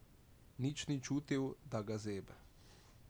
Nič ni čutil, da ga zebe.